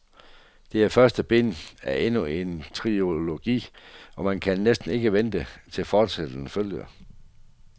Dette er første bind af endnu en trilogi og man kan næsten ikke vente til fortsættelse følger.